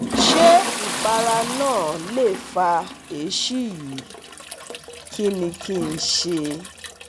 Ṣé ìpara náà lè fa èsì yìí? Kí ni kí n ṣe?